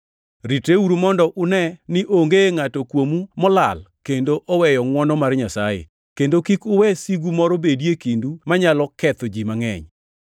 Ritreuru mondo une ni onge ngʼato kuomu molal kendo oweyo ngʼwono mar Nyasaye, kendo kik uwe sigu moro bedi e kindu manyalo ketho ji mangʼeny.